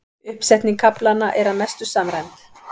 Uppsetning kaflanna er að mestu samræmd